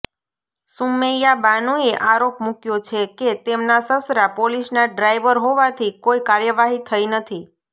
સુમૈયાબાનુએ આરોપ મૂકયો છે કે તેમના સસરા પોલીસના ડ્રાઇવર હોવાથી કોઇ કાર્યવાહી થઇ નથી